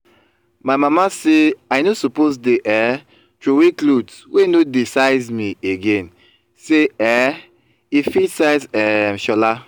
my mama say i no suppose dey um throway clothes wey no dey size me again say um e fit size um shola